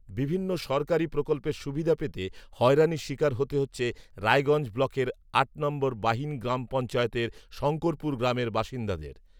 বিভিন্ন সরকারি প্রকল্পের সুবিধা পেতে হয়রানির শিকার হতে হচ্ছে রায়গঞ্জ ব্লকের আট নম্বর বাহিন গ্রাম পঞ্চায়েতের শঙ্করপুর গ্রামের বাসিন্দাদের